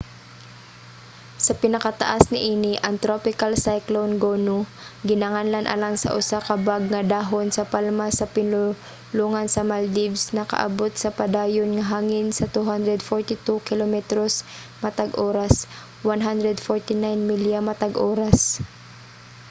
sa pinakataas niini ang tropical cyclone gonu ginganlan alang sa usa ka bag nga dahon sa palma sa pinulongan sa maldives nakaabot sa padayon nga hangin sa 240 kilometros matag oras 149 milya matag oras